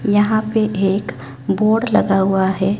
यहां पे एक बोर्ड लगा हुआ है।